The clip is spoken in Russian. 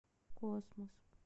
космос